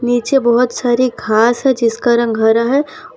नीचे बहुत सारी घास है जिसका रंग हरा है और --